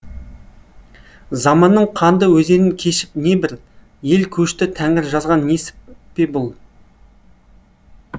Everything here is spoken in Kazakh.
заманның қанды өзенін кешіп не бір ел көшті тәңір жазған несіп пе бұл